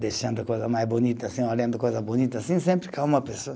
deixando a coisa mais bonita assim, olhando coisa bonita, sempre calma a pessoa.